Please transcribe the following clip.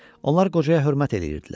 Onlar qocaya hörmət eləyirdilər.